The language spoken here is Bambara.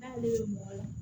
N'ale bɛ mɔgɔ la